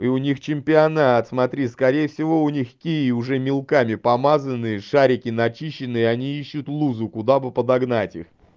у них чемпионат смотри скорее всего у них кии уже мелками помазанные шарики начищенные они ищут лузу куда бы подогнать их